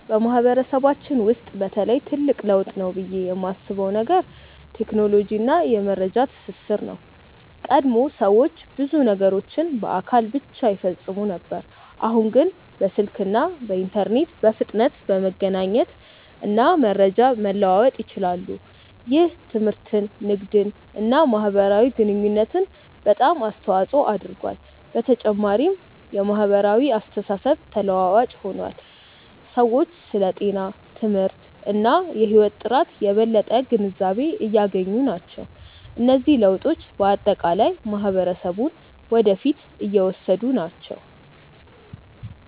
በማህበረሰባችን ውስጥ በተለይ ትልቅ ለውጥ ነው ብዬ የማስበው ነገር ቴክኖሎጂ እና የመረጃ ትስስር ነው። ቀድሞ ሰዎች ብዙ ነገሮችን በአካል ብቻ ይፈጽሙ ነበር፣ አሁን ግን በስልክ እና በኢንተርኔት በፍጥነት መገናኘት እና መረጃ መለዋወጥ ይችላሉ። ይህ ትምህርትን፣ ንግድን እና የማህበራዊ ግንኙነትን በጣም አስተዋፅኦ አድርጓል። በተጨማሪም የማህበራዊ አስተሳሰብ ተለዋዋጭ ሆኗል፤ ሰዎች ስለ ጤና፣ ትምህርት እና የህይወት ጥራት የበለጠ ግንዛቤ እያገኙ ናቸው። እነዚህ ለውጦች በአጠቃላይ ማህበረሰቡን ወደ ፊት እየወሰዱ ናቸው።